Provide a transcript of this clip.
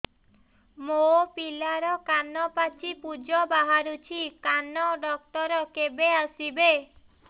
ମୋ ପିଲାର କାନ ପାଚି ପୂଜ ବାହାରୁଚି କାନ ଡକ୍ଟର କେବେ ଆସିବେ